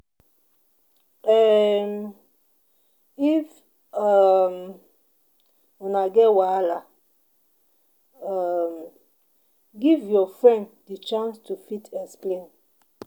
um if um una get wahala, um give your friend di chance to fit explain